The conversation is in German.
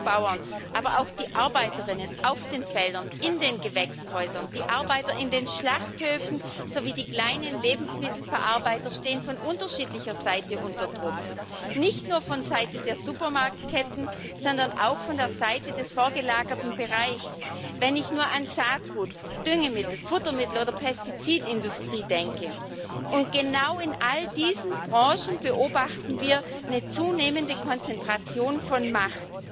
Bäuerinnen und Bauern, aber auch die Arbeiterinnen auf den Feldern, in den Gewächshäusern, die Arbeiter in den Schlachthöfen sowie die kleinen Lebensmittelverarbeiter stehen von unterschiedlicher Seite unter Druck, nicht nur von Seite der Supermarktketten, sondern auch von der Seite des vorgelagerten Bereichs wenn ich nur an die Saatgut Düngemittel Futtermittel oder Pestizidindustrie denke. Und genau in all diesen Branchen beobachten wir eine zunehmende Konzentration von Macht.